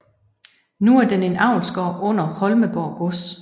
Nu er den en avlsgård under Holmegaard Gods